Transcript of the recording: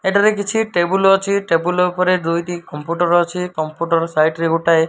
ଏଠାରେ କିଛି ଟେବୁଲ ଅଛି ଟେବୁଲ ଉପରେ ଦୁଇ ଟି କମ୍ପୁଟର ଅଛି କମ୍ପୁଟର ସାଇଡ଼ ରେ ଗୋଟାଏ --